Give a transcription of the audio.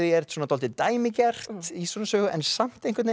er dálítið dæmigert í svona sögu en samt